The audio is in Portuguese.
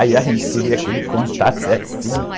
Aí a gente queria que ele contasse as cinco.